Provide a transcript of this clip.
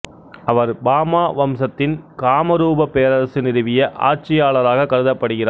அவர் பாமா வம்சத்தின் காமரூப பேரரசு நிறுவிய ஆட்சியாளராக கருதப்படுகிறார்